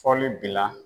Fɔli bila